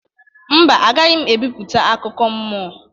Mba, agaghị m ebipụta akụkọ mmụọ